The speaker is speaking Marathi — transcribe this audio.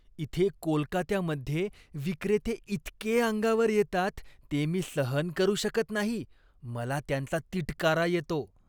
इथे कोलकात्यामध्ये विक्रेते इतके अंगावर येतात ते मी सहन करू शकत नाही. मला त्यांचा तिटकारा येतो.